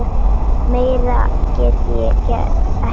Meira get ég ekki gert.